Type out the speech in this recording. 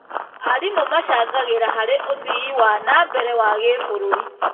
Arimũ macangagĩra harĩ ũthii wa na mbere wa gĩbũrũri.